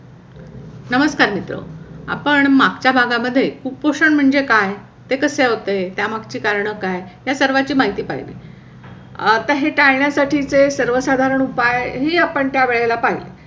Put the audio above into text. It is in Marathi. नमस्कार, मीत्रो आपण मागच्या भागा मध्ये कुपोषण म्हणजे काय ते कसे होते त्या मागचे कारण काय? या सर्वाची माहिती पाहिली आता हे टाळण्यासाठी सर्व साधारण उपाय हे आपण त्या वेळेला पाहिली.